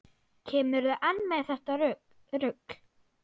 Kemurðu enn með þetta rugl!